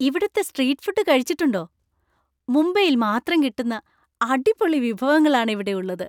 ഇവിടുത്തെ street food കഴിച്ചിട്ടുണ്ടോ? മുംബൈയിൽ മാത്രം കിട്ടുന്ന അടിപൊളി വിഭവങ്ങളാണ് ഇവിടെ ഉള്ളത്.